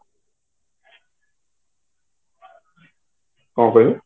କଣ କହିଲ